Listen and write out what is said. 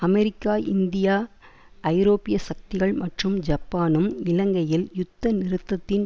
America India ஐரோப்பிய சக்திகள் மற்றும் ஜப்பானும் இலங்கையில் யுத்த நிறுத்தத்தின்